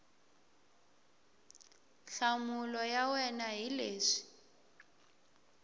nhlamulo ya wena hi leswi